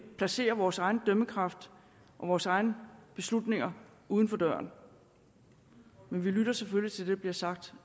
placerer vores egen dømmekraft og vores egne beslutninger uden for døren men vi lytter selvfølgelig til det der bliver sagt